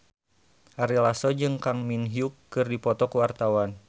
Ari Lasso jeung Kang Min Hyuk keur dipoto ku wartawan